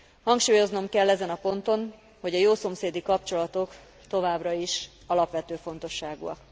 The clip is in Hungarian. Hangsúlyoznom kell ezen a ponton, hogy a jószomszédi kapcsolatok továbbra is alapvető fontosságúak.